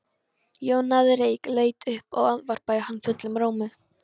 Jón náði reyk, leit upp og ávarpaði hann fullum rómi.